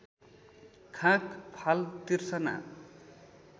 खाँक फाल तिर्सना